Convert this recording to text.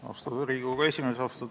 Austatud Riigikogu esimees!